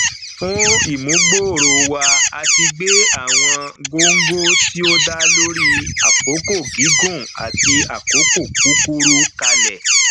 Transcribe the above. fún ìmúgbòòrò wa a ti gbé àwọn góńgó tí ó dá lórí àkókò gígùn àti àkókò kúkúrú kalẹ